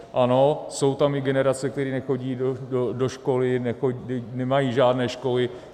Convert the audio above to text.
Ano, jsou tam i generace, které nechodí do školy, nemají žádné školy.